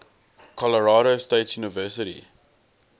colorado state university